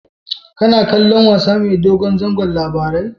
Kana kallon wasa mai dogon zango Labaran?